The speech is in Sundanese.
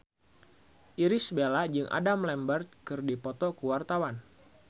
Irish Bella jeung Adam Lambert keur dipoto ku wartawan